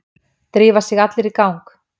Drífa sig allir í gang!